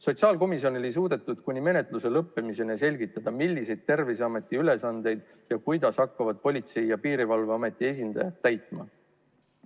Sotsiaalkomisjonis ei suudetud kuni menetluse lõppemiseni selgitada, milliseid Terviseameti ülesandeid ja kuidas hakkavad Politsei- ja Piirivalveameti esindajad täitma.